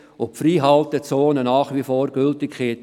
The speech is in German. Die Freihaltezone hätte nach wie vor Gültigkeit.